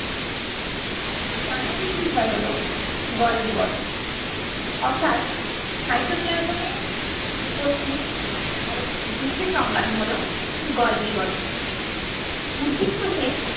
চার number বিষয় হলো golgi body অর্থাৎ cytoplasm এ উপস্থিত আর একটি বিশেষ অঙ্গাণু হলো golgi body উদ্ভিদ কোষে